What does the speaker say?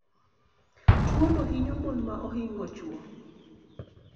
tuo no hinyo mon ma oingo chuo